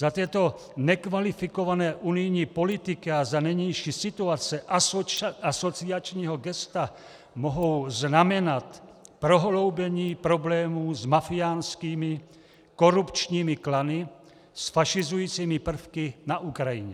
Za této nekvalifikované unijní politiky a za nynější situace asociačního gesta mohou znamenat prohloubení problémů s mafiánskými korupčními klany, s fašizujícími prvky na Ukrajině.